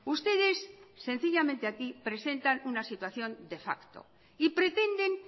ustedes sencillamente aquí presentan una situación de facto y pretenden